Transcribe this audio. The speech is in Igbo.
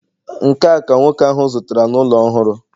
nke a ka nwoke ahụ zụtara ụlọ ọhụrụ